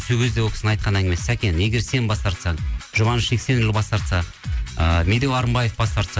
сол кезде ол кісінің айтқан әңгімесі сәкен егер сен бас тартсаң жұбаныш жексенұлы бас тартса ы медеу арынбаев бас тартса